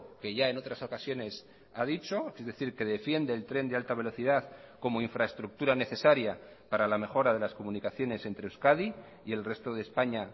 que ya en otras ocasiones ha dicho es decir que defiende el tren de alta velocidad como infraestructura necesaria para la mejora de las comunicaciones entre euskadi y el resto de españa